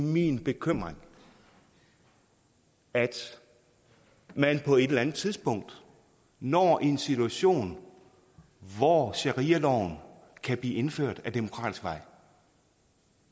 min bekymring at man på et eller andet tidspunkt når en situation hvor sharialoven kan blive indført ad demokratisk vej